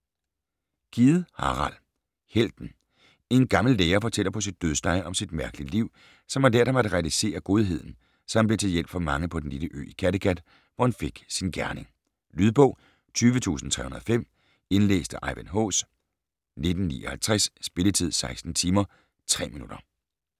Kidde, Harald: Helten En gammel lærer fortæller på sit dødsleje om sit mærkelige liv, som har lært ham at realisere godheden, så han blev til hjælp for mange på den lille ø i Kattegat, hvor han fik sin gerning. Lydbog 20305 Indlæst af Ejvind Haas, 1959. Spilletid: 16 timer, 3 minutter.